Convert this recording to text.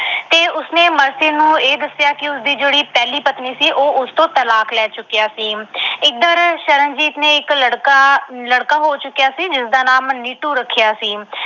ਤੇ ਉਸਨੇ ਮਰਸੀ ਨੂੰ ਇਹ ਦੱਸਿਆ ਕਿ ਉਸ ਦੀ ਜਿਹੜੀ ਪਹਿਲੀ ਪਤਨੀ ਸੀ, ਉਹ ਉਸ ਤੋਂ ਤਲਾਕ ਲੈ ਚੁੱਕਿਆ ਸੀ। ਇਧਰ ਸ਼ਰਨਜੀਤ ਦੇ ਇੱਕ ਲੜਕਾ ਅਹ ਲੜਕਾ ਹੋ ਚੁੱਕਿਆ ਸੀ, ਜਿਸਦਾ ਨਾਮ ਨੀਟੂ ਰੱਖਿਆ ਸੀ।